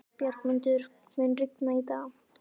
Bjargmundur, mun rigna í dag?